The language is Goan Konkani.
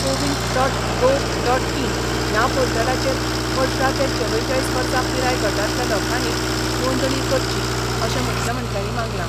CoWIN dot gov dot in ह्या पोर्टलाचेर अठरा ते चवेचाळीस वर्सा पिराय गटांतल्या लोकांनी नोंदणी करची अशें मुख्यमंत्र्यांनी मागलां.